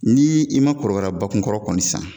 Ni i ma kɔrɔkara bakunkɔrɔ kɔni san